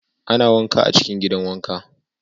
Ana wanka a cikin gidan wanka.